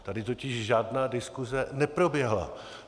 Tady totiž žádná diskuse neproběhla.